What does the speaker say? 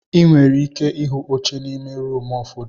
Ị nwere ike ịhụ oche n'ime rumụ ụfọdụ.